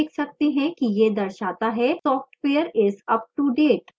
हम देख सकते हैं कि यह दर्शाता है software is up to date